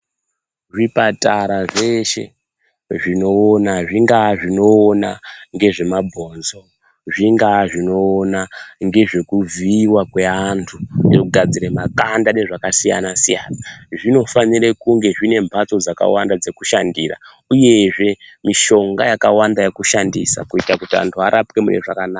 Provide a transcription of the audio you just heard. Zvipatara zveshe zvinoona zvingaa zvinoona ngezvemabhonzo zvingaa zvinoona ngezvekuvhiiwa kweantu kugadzire makanda nezvakasiyana siyana zvinofanire kunge zvine mhatso dzakawanda dzekushandira uyezve mushonga yakawanda yekushandisa kuita kuti antu arapwe mune zvakanaka.